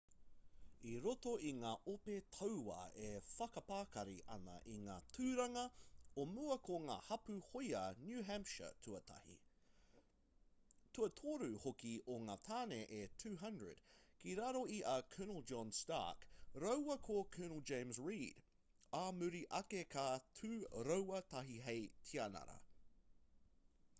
i roto i ngā ope tauā e whakapakari ana i ngā tūranga o mua ko ngā hapū hōia new hampshire tuatahi tuatoru hoki o ngā tāne e 200 ki raro i a colonel john stark rāua ko colonel james reed ā muri ake ka tū rāua tahi hei tianara